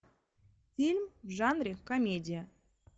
фильм в жанре комедия